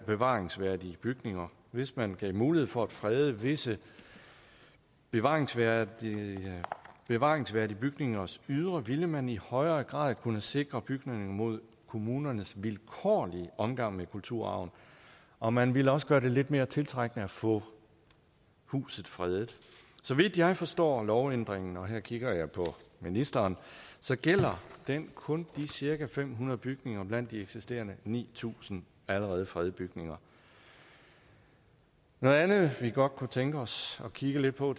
bevaringsværdige bygninger hvis man gav mulighed for at frede visse bevaringsværdige bevaringsværdige bygningers ydre ville man i højere grad kunne sikre bygningerne imod kommunernes vilkårlige omgang med kulturarven og man ville også gøre det lidt mere tiltrækkende at få huset fredet så vidt jeg forstår lovændringen og her kigger jeg på ministeren gælder den kun de cirka fem hundrede bygninger blandt de eksisterende ni tusind allerede fredede bygninger noget andet vi godt kunne tænke os at kigge lidt på